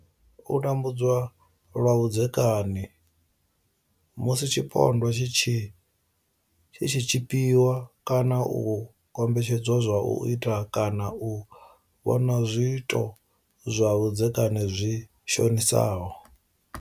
U tambudzwa lwa vhudzekani Musi tshipondwa tshi tshi tshipiwa kana u kombetshedzwa u ita kana u vhona zwiito zwa vhudzekani zwi shonisaho.